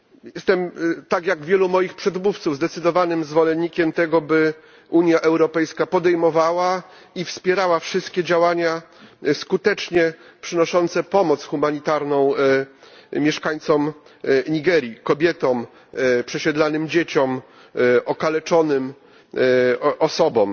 Jestem, tak jak wielu moich przedmówców, zdecydowanym zwolennikiem tego, by Unia Europejska podejmowała i wspierała wszystkie działania skutecznie przynoszące pomoc humanitarną mieszkańcom Nigerii kobietom, przesiedlanym dzieciom, okaleczonym osobom.